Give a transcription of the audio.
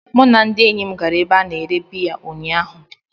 Mụ na ndị enyi m gara n'ebe a na-ere biya ụnyahụ.